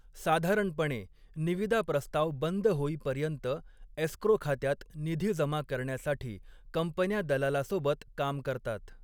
साधारणपणे, निविदा प्रस्ताव बंद होईपर्यंत एस्क्रो खात्यात निधी जमा करण्यासाठी, कंपन्या दलालासोबत काम करतात.